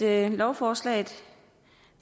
at lovforslaget